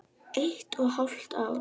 Eitt og hálft ár.